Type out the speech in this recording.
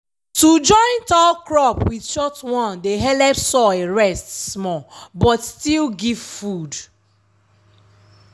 to join tall crop with short one dey helep soil rest small but still give food.